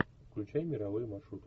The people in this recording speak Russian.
включай мировые маршруты